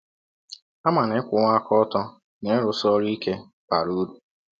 Ha ma na ịkwụwa aka ọtọ na ịrụsi ọrụ ike bara ụrụ.